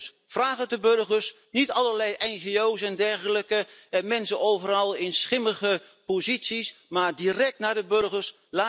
Dus, vraag het de burgers, niet allerlei ngo's en dergelijke, mensen overal in schimmige posities, maar direct aan de burgers.